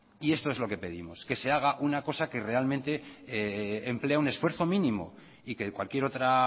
y esto lo que pedimos que se haga una cosa que realmente emplee un esfuerzo mínimo y que cualquier otra